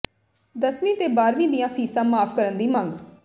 ਦਸਵੀਂ ਤੇ ਬਾਰ੍ਹਵੀਂ ਦੀਆਂ ਫੀਸਾਂ ਮਾਫ਼ ਕਰਨ ਦੀ ਮੰਗ